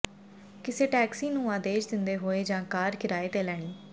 ਕਿਸੇ ਟੈਕਸੀ ਨੂੰ ਆਦੇਸ਼ ਦਿੰਦੇ ਹੋਏ ਜਾਂ ਕਾਰ ਕਿਰਾਏ ਤੇ ਲੈਣੀ